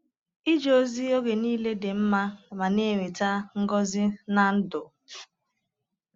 Ịje ozi oge niile dị mma ma na-eweta ngọzi n’ndụ.